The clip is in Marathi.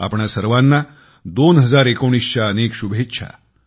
आपणा सर्वांना 2019च्या अनेक शुभेच्छा